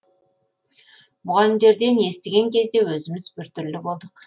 мұғалімдерден естіген кезде өзіміз біртүрлі болдық